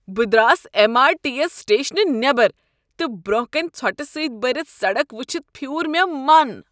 بہٕ درٛاس M R T S سٹیشنہٕ نیبر تہٕ برٛۄنٛہہ کنہ ژھۄٹہٕ سۭتۍ بٔرتھ سڑک ؤچھتھ پھیوٗر مےٚ من۔